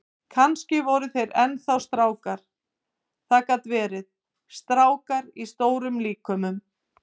Kannski voru þeir enn þá strákar, það gat verið, strákar í stórum líkömum.